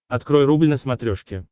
открой рубль на смотрешке